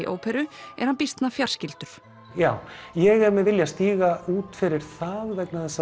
óperu er hann býsna fjarskyldur já ég er með vilja að stíga út fyrir það vegna þess